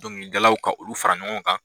Dɔnkilidalaw ka olu fara ɲɔgɔn kan.